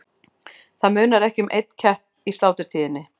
Það munar ekki um einn kepp í sláturtíðinni.